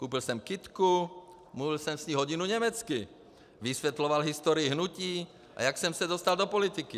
Koupil jsem kytku, mluvil jsem s ní hodinu německy, vysvětloval historii hnutí, a jak jsem se dostal do politiky.